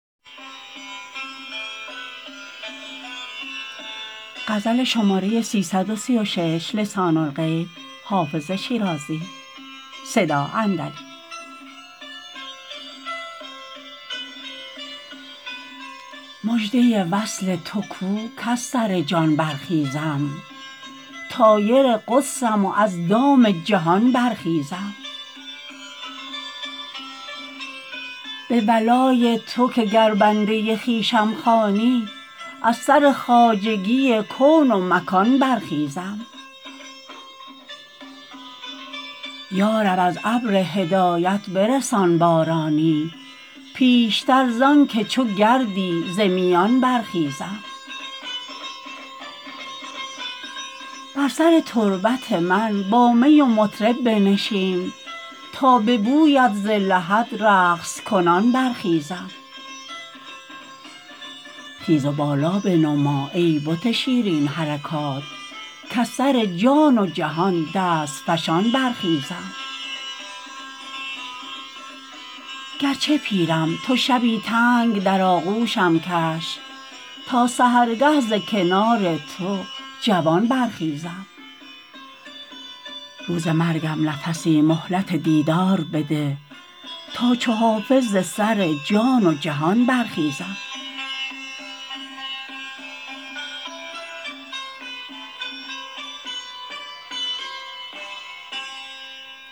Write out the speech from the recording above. مژده وصل تو کو کز سر جان برخیزم طایر قدسم و از دام جهان برخیزم به ولای تو که گر بنده خویشم خوانی از سر خواجگی کون و مکان برخیزم یا رب از ابر هدایت برسان بارانی پیشتر زان که چو گردی ز میان برخیزم بر سر تربت من با می و مطرب بنشین تا به بویت ز لحد رقص کنان برخیزم خیز و بالا بنما ای بت شیرین حرکات کز سر جان و جهان دست فشان برخیزم گرچه پیرم تو شبی تنگ در آغوشم کش تا سحرگه ز کنار تو جوان برخیزم روز مرگم نفسی مهلت دیدار بده تا چو حافظ ز سر جان و جهان برخیزم